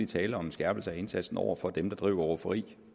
tale om en skærpelse af indsatsen over for dem der bedriver rufferi